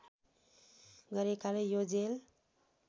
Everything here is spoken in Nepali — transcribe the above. गरेकाले यो जेल